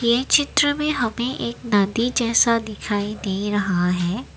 ये चित्र में हमें एक नदी जैसा दिखाई दे रहा है।